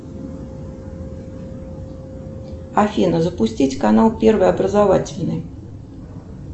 афина запустить канал первый образовательный